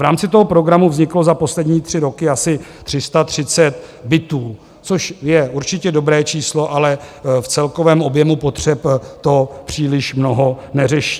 V rámci toho programu vzniklo za poslední tři roky asi 330 bytů, což je určitě dobré číslo, ale v celkovém objemu potřeb to příliš mnoho neřeší.